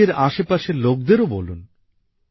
নিজের আশেপাশের লোকদেরও বলুন